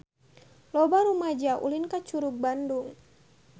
Loba rumaja ulin ka Curug Bandung